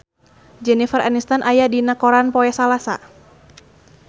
Jennifer Aniston aya dina koran poe Salasa